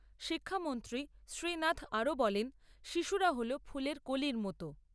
শিক্ষামন্ত্রী শ্রীনাথ আরও বলেন, শিশুরা হল ফুলের কলির মতো।